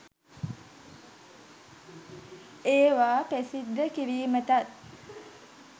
ඒවා ප්‍රසිද්ධ කිරීමටත්